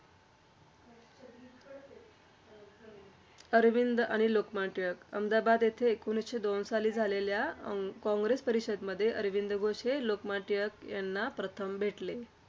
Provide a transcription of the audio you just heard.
श्रीअरविंद आणि लोकमान्य टिळक. अहमदाबाद येथे एकोणीसशे दोन साली झालेल्या अं कांग्रेस परिषदमध्ये अरविंद घोष हे लोकमान्य टिळक यांना प्रथम भेटले.